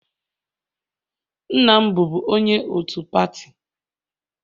Nna m bụbu onye otu pati